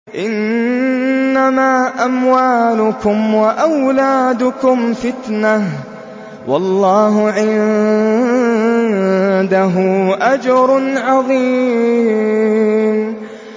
إِنَّمَا أَمْوَالُكُمْ وَأَوْلَادُكُمْ فِتْنَةٌ ۚ وَاللَّهُ عِندَهُ أَجْرٌ عَظِيمٌ